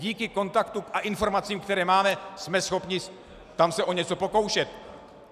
Díky kontaktům a informacím, které máme, jsme schopni se tam o něco pokoušet.